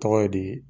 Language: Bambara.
Tɔgɔ ye di